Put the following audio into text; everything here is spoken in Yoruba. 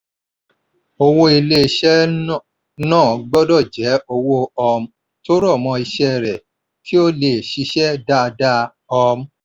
owó ilé-iṣẹ́ ń ná gbọdọ̀ jẹ́ owó um tó rọ̀ mọ́ iṣẹ́ rẹ̀ kí ó lè ṣiṣẹ́ dáadáa. um